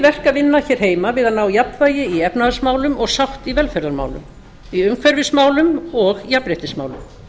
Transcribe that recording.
vinna hér heima við að ná jafnvægi í efnahagsmálum og sátt í velferðarmálum í umhverfismálum og jafnréttismálum